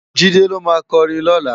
JIde ló má kòrin lòlá